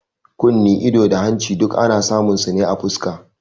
Kunne, ido, da hanci duk ana samun su ne a fuska